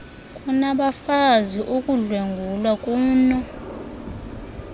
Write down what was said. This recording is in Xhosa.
kunabafazi ukudlwengulwa kuno